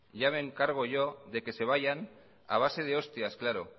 ya me encargo yo de que se vayan a base de ostias claro